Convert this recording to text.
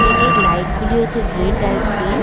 গেটের লাইট -গুলি হচ্ছে রেড আর গ্রিন ।